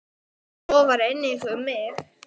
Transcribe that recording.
Svo var einnig um mig.